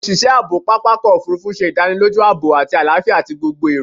Awọn oṣiṣẹ aabo papa ọkọ ofurufu ṣe idaniloju aabo ati alafia ti gbogbo awọn ero